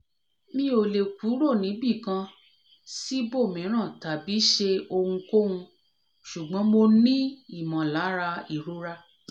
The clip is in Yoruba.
mi o le kuro nibikan cs] sibomiran tabi se ohunkohun sugbon mo ni imolara irora